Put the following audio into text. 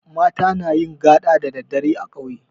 Mata nayin gaɗa da daddare a ƙauye